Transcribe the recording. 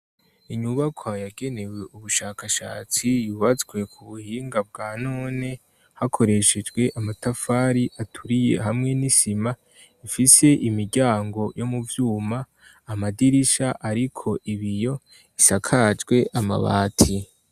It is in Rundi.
Inyubaka yagenewe ubushakashatsi yubatswe ku buhinga bwa none, hakoreshejwe amatafari aturiye hamwe n'isima, ifise imiryango yo mu vyuma, amadirisha ariko ibiyo isakajwe amabati.